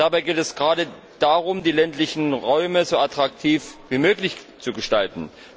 Dabei geht es gerade darum, die ländlichen Räume so attraktiv wie möglich zu gestalten.